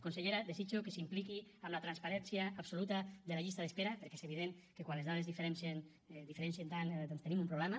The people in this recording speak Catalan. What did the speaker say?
consellera desitjo que s’impliqui en la transparència absoluta de la llista d’espera perquè és evident que quan les dades es diferencien tant doncs tenim un problema